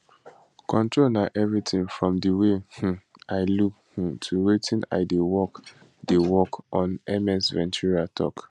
control na everything from di way um i look um to wetin i dey work dey work on ms ventura tok